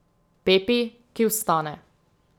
Pepi, ki vstane.